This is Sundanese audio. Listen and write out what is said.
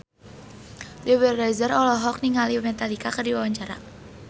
Dewi Rezer olohok ningali Metallica keur diwawancara